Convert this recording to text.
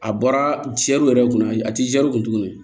A bɔra yɛrɛ kunna a ti kun tuguni